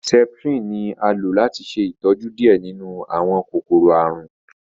septrin ní a lò láti ṣe ìtọjú diẹ nínú àwọn kòkòrò àrùn